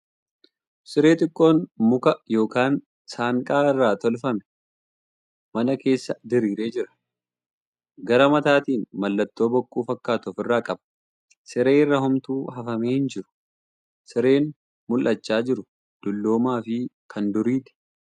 Siree xiqqoon muka yookan saanqaa irraa tolfame mana keessa diriiree jira. Gara mataatiin mallattoo bokkuu fakkaatu ofirraa qaba. Siree irra homtuu hafamee hin jiru. Sireen mul'achaa jiru dulloomaa fi kan duriiti.